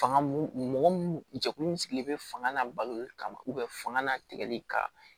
Fanga mun mɔgɔ mun jɛkulu min sigilen bɛ fanga n'a baloli kama fanga na tigɛli ka